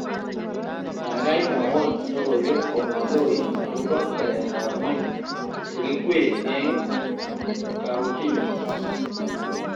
Gaigai mwawon logoywek komaloit agoba gereetab ngweny chekikwee eng kauntinyu